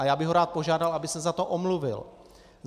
A já bych ho rád požádal, aby se za to omluvil.